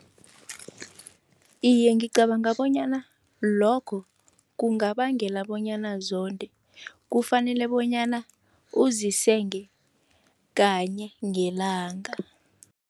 Iye, ngicabanga bonyana lokho kungabangela bonyana zonde. Kufanele bonyana uzisenge kanye ngelanga.